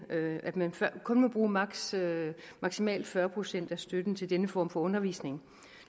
at man kun må bruge maksimalt maksimalt fyrre procent af støtten til denne form for undervisning